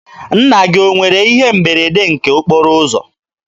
Nna gị o nwere ihe mberede nke okporo ụzọ?